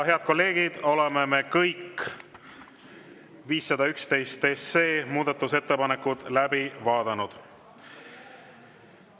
Head kolleegid, oleme kõik 511 SE muudatusettepanekud läbi vaadanud.